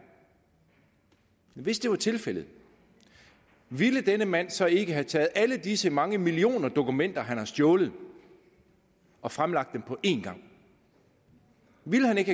hvis det var tilfældet ville denne mand så ikke have taget alle disse mange millioner dokumenter han har stjålet og fremlagt dem på én gang ville han ikke